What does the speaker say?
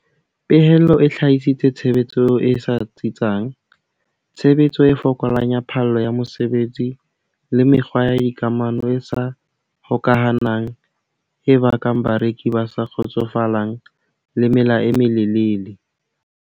Pehelo e hlahisitse tshebetso e sa tsitsang, tshebetso e fokolang ya phallo ya mosebetsi le mekgwa ya dikamano e sa hokahanang e bakang bareki ba sa kgotsofalang le mela e melelele.